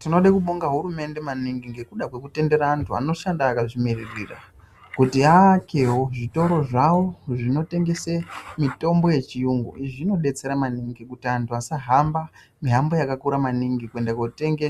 Tinode kubonga hurumende maningi ngekuda kwekutendera anhu anoshanda akazvimirira kuti aakewo zvitoro zvavo zvinotengese mitombo yechiyungu, izvi zvinodetsera maningi ngekuti antu asahamba mihambo yakakura maningi kuenda kootenge